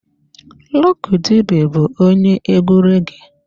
Lucky Dube bụ onye egwu reggee.